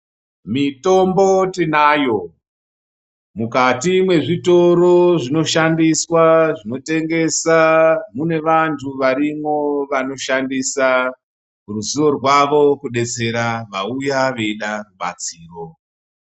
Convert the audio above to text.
Mitombo tinayo mukati mwezvitoro zvinoshandiswa zvinotengesa mune vantu varimwo vanoshandisa ruzivo rwavo kudetsera vauya veida rubatsiro.